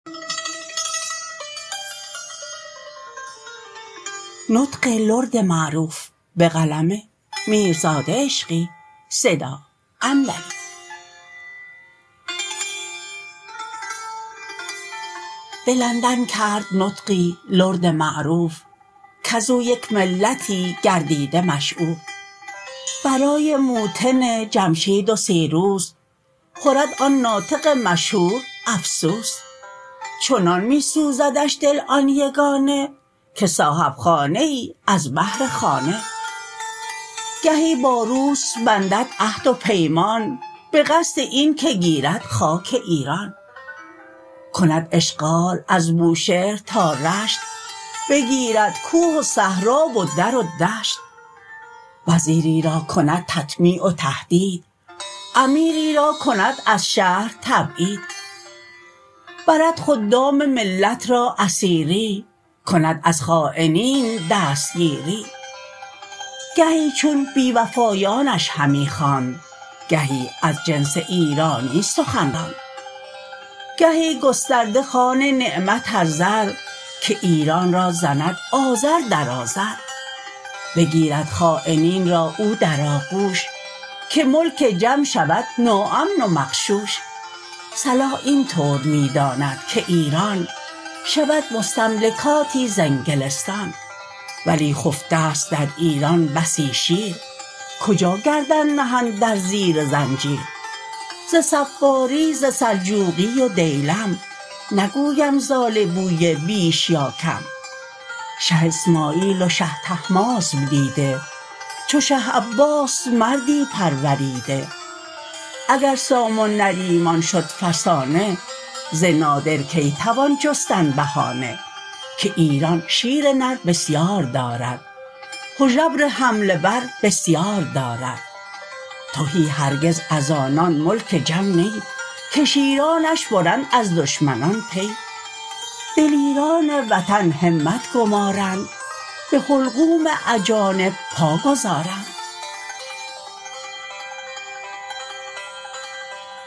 به لندن کرد نطقی لرد معروف کزو یک ملتی گردیده مشعوف برای موطن جمشید و سیروس خورد آن ناطق مشهور افسوس چنان می سوزدش دل آن یگانه که صاحب خانه ای از بهر خانه گهی با روس بندد عهد و پیمان به قصد این که گیرد خاک ایران کند اشغال از بوشهر تا رشت بگیرد کوه و صحرا و در و دشت وزیری را کند تطمیع و تهدید امیری را کند از شهر تبعید برد خدام ملت را اسیری کند از خاینین دستگیری گهی چون بی وفایانش همی خواند گهی از جنس ایرانی سخن راند گهی گسترده خوان نعمت از زر که ایران را زند آذر در آذر بگیرد خاینین را او در آغوش که ملک جم شود ناامن و مغشوش صلاح این طور می داند که ایران شود مستملکاتی ز انگلستان ولی خفته است در ایران بسی شیر کجا گردن نهند در زیر زنجیر ز صفاری ز سلجوقی و دیلم نگویم ز آل بویه بیش یا کم شه اسماعیل و شه طهماسب دیده چو شه عباس مردی پروریده اگر سام و نریمان شد فسانه ز نادر کی توان جستن بهانه که ایران شیر نر بسیار دارد هژبر حمله ور بسیار دارد تهی هرگز از آنان ملک جم نی که شیرانش برند از دشمنان پی دلیران وطن همت گمارند به حلقوم اجانب پا گذارند